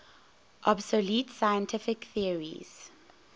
obsolete scientific theories